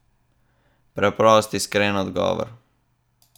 Preprost, iskren odgovor.